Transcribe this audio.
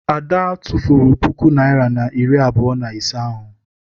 Ada tụfuru puku naịra na iri abụọ na ise ahụ.